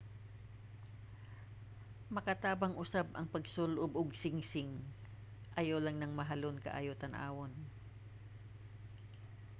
makatabang usab ang pagsul-ob og singsing ayaw lang nang mahalon kaayo tan-awon